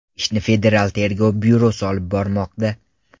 Ishni Federal tergov byurosi olib bormoqda.